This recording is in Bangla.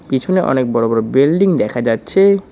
পিছনে অনেক বড়ো বড়ো বেল্ডিং দেখা যাচ্ছে।